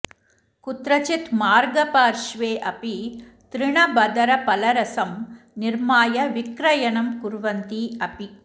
कुत्रचित् मार्गपार्श्वे अपि तृणबदरफलरसं निर्माय विक्रयणं कुर्वन्ति अपि